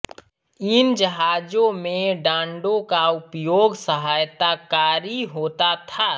इन जहाजों में डाँड़ों का उपयोग सहायताकारी होता था